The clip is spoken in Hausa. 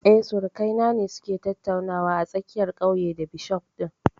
Eh, surukai na ne su ke tattaunawa a tsakiyar ƙauye da bishof ɗin